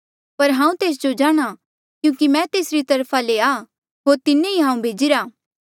पर हांऊँ तेस जो जाणहां क्यूंकि मैं तेसरी तरफा ले आ होर तिन्हें ही हांऊँ भेजिरा